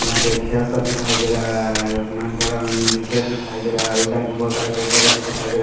यहाँ पे खेत सब दिखाई दे रहा है असमानकरण विच्छेद दिखाई दे रहा है उस साइड गो बहुत सारे पेड़ पौधे से दिखाई दे रहे हैं।